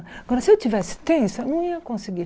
Agora, se eu estivesse tensa, eu não ia conseguir.